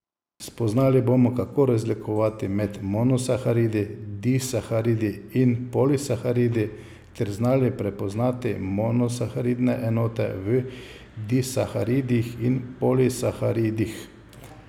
Spoznali bomo, kako razlikovati med monosaharidi, disaharidi in polisaharidi ter znali prepoznati monosaharidne enote v disaharidih in polisaharidih.